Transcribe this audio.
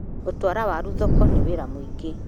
Gũtwara waru thoko nĩ wĩra mũingĩ.